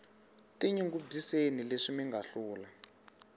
tinyungubyiseni leswi minga hlula